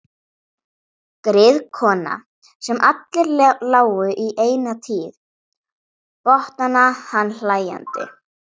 Griðkona sem allir lágu í eina tíð, botnaði hann hlæjandi.